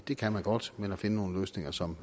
det kan man godt men at finde nogle løsninger som